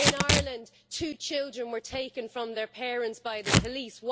In Ireland, two children were taken from their parents by the police.